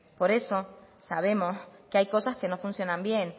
por eso sabemos que hay cosas que no funcionan bien